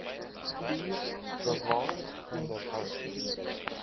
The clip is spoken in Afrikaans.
vier bewaar onderhou